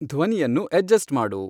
ಧ್ವನಿಯನ್ನು ಅಡ್ಜಸ್ಟ್ ಮಾಡು